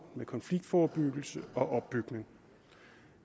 med konfliktforebyggelse og opbygning